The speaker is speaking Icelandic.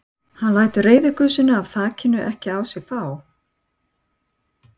Hann lætur reiðigusuna af þakinu ekki á sig fá.